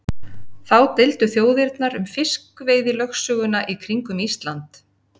Þá deildu þjóðirnar um fiskveiðilögsöguna í kringum Ísland.